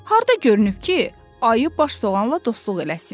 Harda görünüb ki, ayı baş soğanla dostluq eləsin?